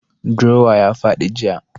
Drawer ya fadi jiya.